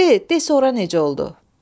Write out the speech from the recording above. De, de sonra necə oldu?